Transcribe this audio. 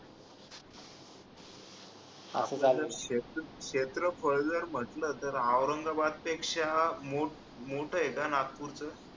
असं झालं क्षेत्रफळ क्षेत्रफळ जर म्हटलं तर औरंगाबाद पेक्षा मोठ मोठ आहे का नागपूरच